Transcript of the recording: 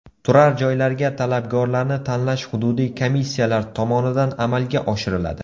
Turar joylarga talabgorlarni tanlash hududiy komissiyalar tomonidan amalga oshiriladi.